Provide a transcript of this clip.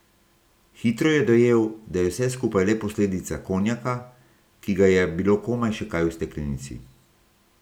Hitro je dojel, da je vse skupaj le posledica konjaka, ki ga je bilo komaj še kaj v steklenici.